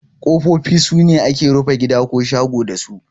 Kofofi sune ake rufe gida ko shago dasu.